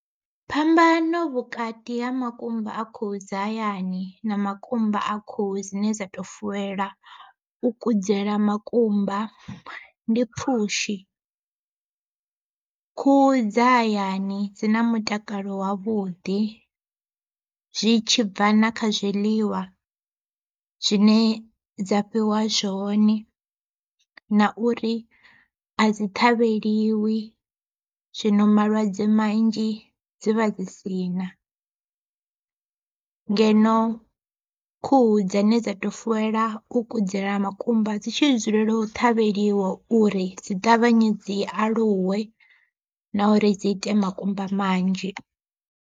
Phambano vhukati ha makumba a khuhu dza hayani na makumba a khuhu dzine dza to fuwelwa u kudzela makumba ndi pfhushi. Khuhu dza hayani dzi na mutakalo wavhuḓi, zwi tshibva na kha zwiḽiwa zwine dza fhiwa zwone na uri a dzi ṱhavheliwi zwino malwadze manzhi dzi vha dzi si na. Ngeno khuhu dzine dza to fuwelwa u kudzela makumba dzi tshi dzulela u ṱhavheliwa uri dzi ṱavhanye dzi aluwe na uri dzi ita makumba manzhi.